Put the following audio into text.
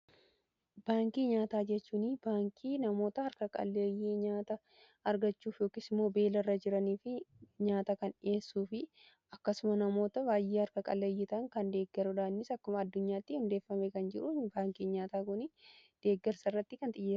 Baankii nyaataa jechuun baankii namoota harka-qalleeyyii nyaata argachuuf yookiis immoo beela irra jiranii fi nyaata kan dhi'eessuu fi akkasuma namoota baay'ee harka qaleeyyii ta'an kan deeggarudha. Innis akkuma addunyaatti hundeeffame kan jiru, baankii nyaataa kun deeggarsa irratti kan xiyyeeffateedha.